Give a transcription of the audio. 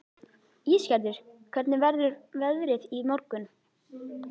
Ísgerður, hvernig verður veðrið á morgun?